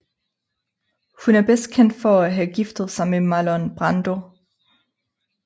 Hun er bedst kendt for at have giftet sig med Marlon Brando